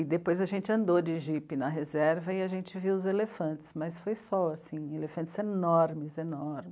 E depois a gente andou de jipe na reserva e a gente viu os elefantes, mas foi só, assim, elefantes enormes, enormes.